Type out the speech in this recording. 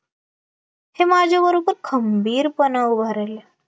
ते माझ्या बरोबर खंबीर पणा उभा राहिले